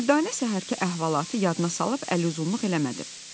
Dürdanə səhərki əhvalatı yadına salıb əl uzunluq eləmədi.